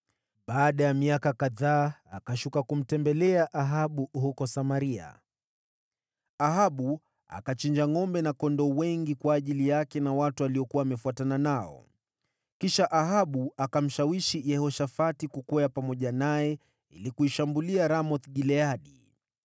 Baada ya miaka kadhaa akashuka kumtembelea Ahabu huko Samaria. Ahabu akachinja ngʼombe na kondoo wengi kwa ajili yake na watu aliokuwa amefuatana nao. Kisha Ahabu akamshawishi Yehoshafati kukwea pamoja naye ili kuishambulia Ramoth-Gileadi.